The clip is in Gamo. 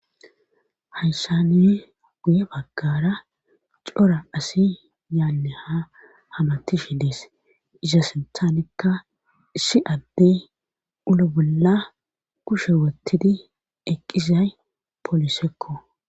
Hayshani guye baggara cora asi yaanne ha hamati shi dees isa sinthanekka issi addey ulo bolla kushe wottidi eqqisay poolisekko